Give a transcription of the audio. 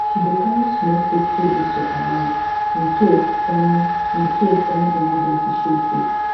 she dey carry small safety whistle around in case any in case any emergency show face